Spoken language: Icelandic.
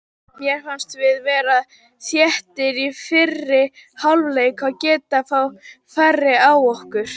Mér fannst við vera þéttir í fyrri hálfleik og gefa fá færi á okkur.